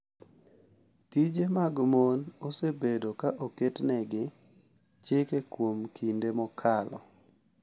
Tije mag mon osebedo ka oketnegi chike kuom kinde mokalo